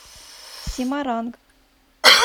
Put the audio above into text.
семаранг